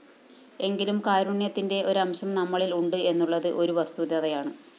എങ്കിലും കാരുണ്യത്തിന്റെ ഒരംശം നമ്മളില്‍ ഉണ്ട് എന്നുള്ളത് ഒരു വസ്തുതയാണ്